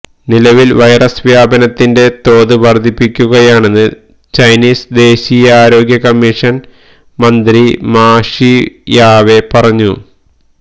നിലവിൽ വൈറസ് വ്യാപനത്തിന്റെ തോത് വർധിക്കുകയാണെന്ന് ചൈനീസ് ദേശീയ ആരോഗ്യ കമ്മീഷൻ മന്ത്രി മാ ഷിയാവേ പറഞ്ഞു